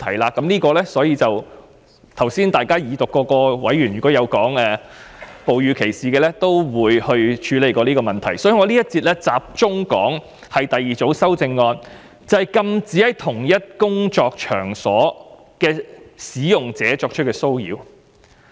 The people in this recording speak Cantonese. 委員剛才在二讀辯論就哺乳歧視提出問題時，亦曾討論應如何處理，故此我在這一節會集中談論第二組修正案，即禁止對在共同工作場所的使用者作出騷擾。